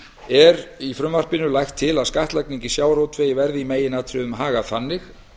er í frumvarpinu lagt til að skattlagningu í sjávarútvegi verði í meginatriðum hagað þannig